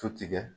Tu tigɛ